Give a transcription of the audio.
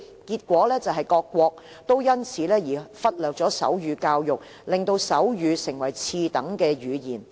結果，各國因此而忽略手語教育，令手語成為次等語言。